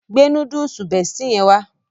Gbe Núdúùsù Bestie yẹn wá